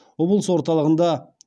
облыс орталығында